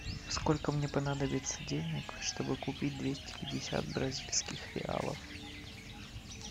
сколько мне понадобится денег чтобы купить двести пятьдесят бразильских реалов